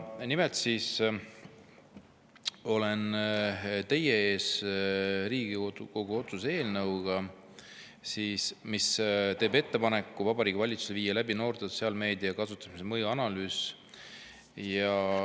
Nimelt olen ma teie ees Riigikogu otsuse eelnõuga, mis teeb ettepaneku Vabariigi Valitsusele viia läbi noorte sotsiaalmeedia kasutamise mõju analüüs.